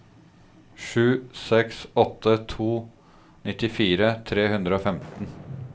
sju seks åtte to nittifire tre hundre og femten